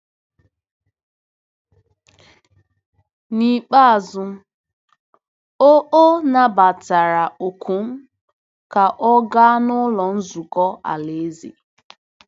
N’ikpeazụ, o o nabatara òkù m ka ọ gaa Ụlọ Nzukọ Alaeze.